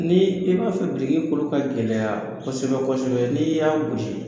Ni i b'a fɛ biriki kolo ka gɛlɛya kosɛbɛ kosɛbɛ n'i y'a gosi